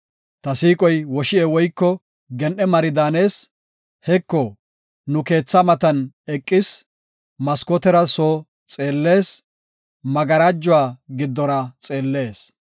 Ta siiqoy woshi7e woyko gen7e mari daanees; Heko, nu keethaa matan eqis; maskootera soo xeellees; magarajuwa giddora xeellees.